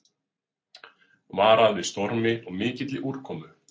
Varað við stormi og mikilli úrkomu